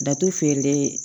Datugu feere